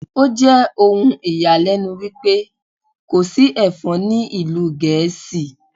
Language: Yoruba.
Ó jẹ́ ohun ìyàlẹ́nu wípé kò sí Ẹ̀fọn ní ìlú Gẹ̀ẹ́sì.